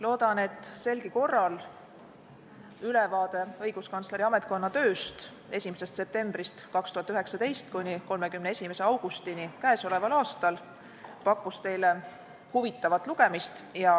Loodan, et selgi korral pakkus õiguskantsleri ametkonna töö ülevaade teile huvitavat lugemist.